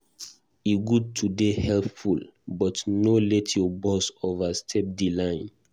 E good to dey helpful, but no let your boss overstep di line.